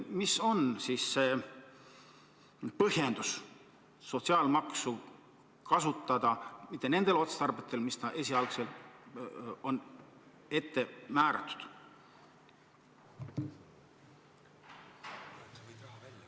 Mis on see põhjendus, et sotsiaalmaksu lubatakse kasutada mitte nendel otstarvetel, mis esialgselt oli määratud?